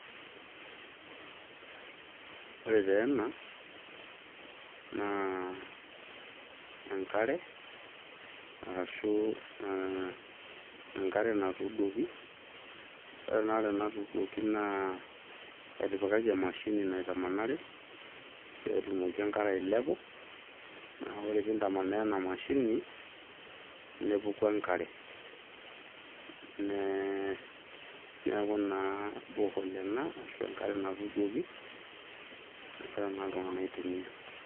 Ore taa ena naa enkare , arashu enkare natuuduoki. Ore enaare natuuduoki naa etipikaki emashini naitamanari petumoki enkare ailepu . Naa ore pintamanaa ena ,mashini nepuku enkare , neeku naa borehole ena ashu enkare natuuduoki nagira naa iltungank aitumia.